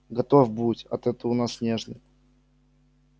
готов будь а то ты у нас нежный